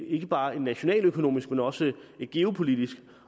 ikke bare et nationaløkonomisk men også et geopolitisk